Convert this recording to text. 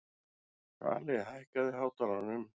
Svali, hækkaðu í hátalaranum.